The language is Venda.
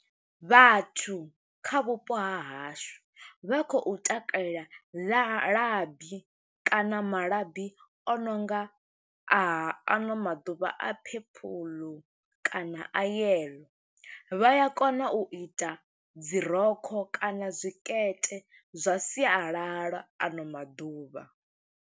Vhathu kha vhupo hashu, vha khou takalela labi kana malabi o no nga a ano maḓuvha a purple kana a yellow. Vha ya kona u ita dzi rokho kana zwikete zwa sialala ano maḓuvha.